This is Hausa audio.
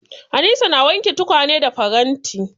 Anisa na wanke tukwane da faranti.